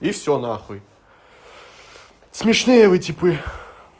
и всё на хуй смешные вы типы